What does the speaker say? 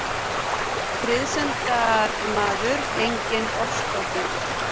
Friðsemdarmaður, enginn ofstopi.